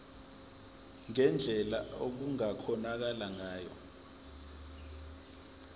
ngendlela okungakhonakala ngayo